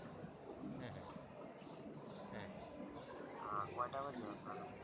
আহ কয়টা বাজে আপনার ওখানে